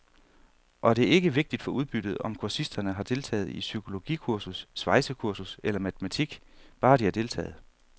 Og det er ikke vigtigt for udbyttet, om kursisterne har deltaget i psykologikursus, svejsekursus eller matematik, bare de har deltaget.